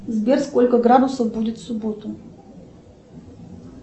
сбер сколько градусов будет в субботу